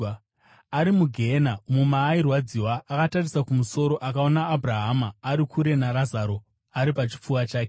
Ari mugehena, umo maairwadziwa, akatarisa kumusoro akaona Abhurahama ari kure, naRazaro ari pachipfuva chake.